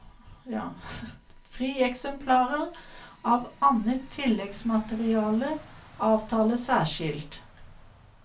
Frieksemplarer av annet tilleggsmateriale avtales særskilt.